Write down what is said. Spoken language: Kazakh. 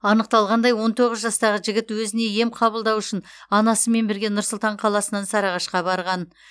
анықталғандай он тоғыз жастағы жігіт өзіне ем қабылдау үшін анасымен бірге нұр сұлтан қаласынан сарыағашқа барған